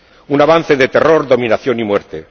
Un avance de terror, dominación y muerte.